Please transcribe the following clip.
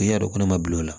I y'a dɔn ko ne ma bil'o la